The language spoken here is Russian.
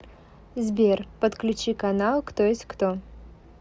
сбер подключи канал кто есть кто